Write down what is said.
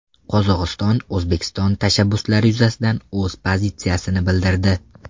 Qozog‘iston O‘zbekiston tashabbuslari yuzasidan o‘z pozitsiyasini bildirdi.